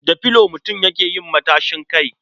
Da filo mutum yake yin matashin kai.